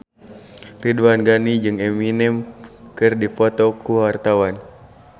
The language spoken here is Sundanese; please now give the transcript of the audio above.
Ridwan Ghani jeung Eminem keur dipoto ku wartawan